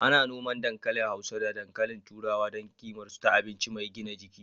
Ana noman dankali hausa da dankalin turawa don ƙimar su ta abinci mai gina jiki.